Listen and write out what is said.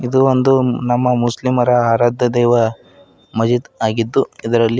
ಇದು ಒಂದು ನಮ್ಮ ಮುಸ್ಲಿಮರ ಆರಾಧ್ಯ ದೈವ ಮಹೀದ್ ಆಗಿದ್ದು ಇದರಲ್ಲಿ--